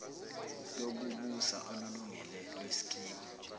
lokubusa olulungile lweskimu